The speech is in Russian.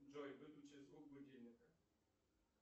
джой выключи звук будильника